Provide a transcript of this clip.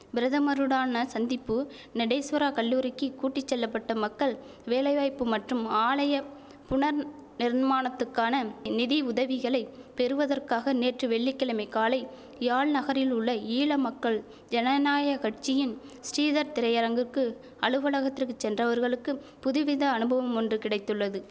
பிரதமருடானா சந்திப்பு நடேஸ்வரா கல்லூரிக்கு கூட்டி செல்லப்பட்ட மக்கள் வேலைவாய்ப்பு மற்றும் ஆலய புனர் நிர்மாணத்துக்கான நிதியுதவிகளைப் பெறுவதற்காக நேற்று வெள்ளி கிழமை காலை யாழ் நகரிலுள்ள ஈழமக்கள் ஜனநாயக் கட்சியின் ஸ்ரீதர் திரையரங்குகிற்கு அலுவலகத்திற்குச் சென்றவர்களுக்கு புதுவித அனுபவம் ஒன்று கிடைத்துள்ளது